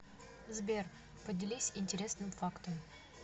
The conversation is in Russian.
сбер поделись интересным фактом